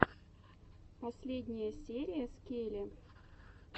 последняя серия скеле